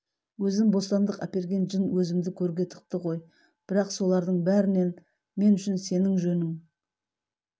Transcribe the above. өзім бостандық әперген жын өзімді көрге тықты ғой бірақ солардың бәрінен мен үшін сенің жөнің